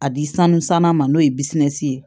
A di sanu sanna ma n'o ye ye